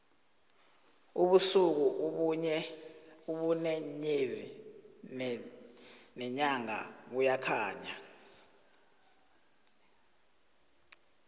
ubusuku ubune nyezi nenyanga buyakhanya